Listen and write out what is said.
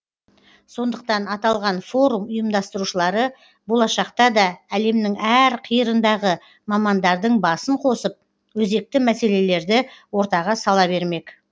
сондықтан аталған форум ұйымдастырушылары болашақта да әлемнің әр қиырындағы мамандардың басын қосып өзекті мәселелерді ортаға сала бермек